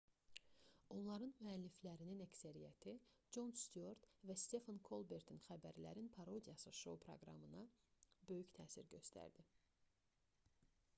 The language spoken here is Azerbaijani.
onların müəlliflərinin əksəriyyəti con stüart və stefen kolbertin xəbərlərin parodiyası şou proqramlarına böyük təsir göstərirdi